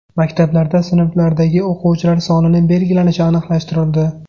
Maktablarda sinflardagi o‘quvchilar sonining belgilanishi aniqlashtirildi.